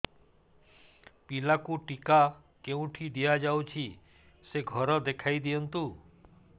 ପିଲାକୁ ଟିକା କେଉଁଠି ଦିଆଯାଉଛି ସେ ଘର ଦେଖାଇ ଦିଅନ୍ତୁ